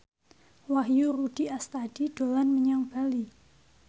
Wahyu Rudi Astadi dolan menyang Bali